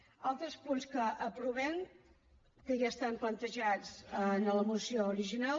altres punts que aprovem que ja estan plantejats en la moció original